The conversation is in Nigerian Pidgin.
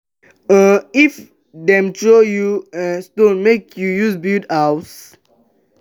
um if dem throw you um stone make you use am build house.